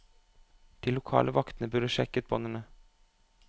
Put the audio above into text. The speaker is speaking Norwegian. De lokale vaktene burde sjekke båndene.